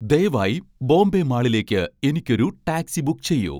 ദയവായി ബോംബെ മാളിലേക്ക് എനിക്ക് ഒരു ടാക്സി ബുക്ക് ചെയ്യൂ .